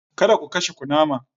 Kada ku kashe kunama!